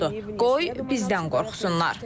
Qoy bizdən qorxsunlar.